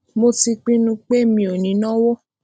mo ti pinnu pé mi ò ní náwó